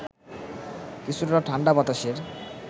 কিছুটা ঠাণ্ডা বাতাসের